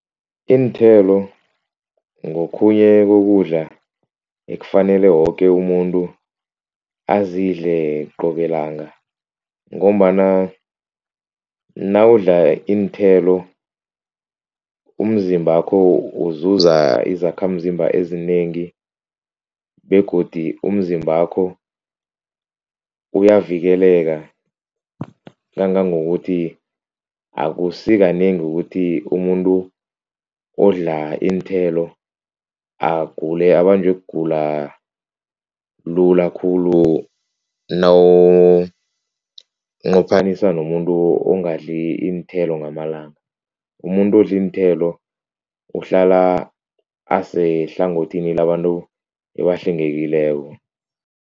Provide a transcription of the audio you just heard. Iinthelo ngokhunye kokudla ekufanele woke umuntu azidle qobe langa ngombana nawudla iinthelo umzimbakho uzuza izakhamzimba ezinengi begodi umzimbakho uyavikeleke kangangokuthi akusikanengi ukuthi umuntu odla iinthelo agule abanjwe kugula lula khulu nawunqophanisa nomuntu ongadli iinthelo ngamalanga, umuntu odle iinthelo uhlala asehlangothini labantu ebahlengekileko.